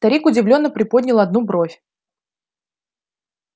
старик удивлённо приподнял одну бровь